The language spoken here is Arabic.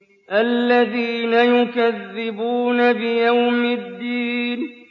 الَّذِينَ يُكَذِّبُونَ بِيَوْمِ الدِّينِ